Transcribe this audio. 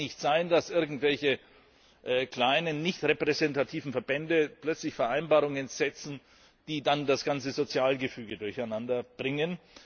Es kann nicht sein, dass irgendwelche kleinen nicht repräsentativen Verbände plötzlich Vereinbarungen treffen, die dann das ganze Sozialgefüge durcheinanderbringen.